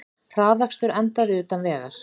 Hraðakstur endaði utan vegar